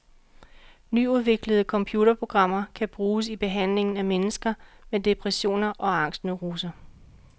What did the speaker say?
Nyudviklede computerprogrammer kan bruges i behandlingen af mennesker med depressioner og angstneuroser.